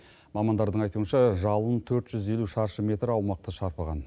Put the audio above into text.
мамандардың айтуынша жалын төрт жүз елу шаршы метр аумақты шарпыған